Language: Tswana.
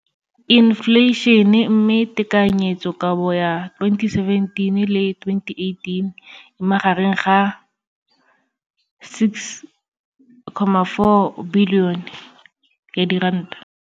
infleišene, mme tekanyetsokabo ya 2017 le 2018 e magareng ga 6.4 bilione ya diranta.